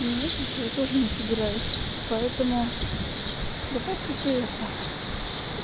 нет ничего тоже не собираюсь поэтому давай-ка ты это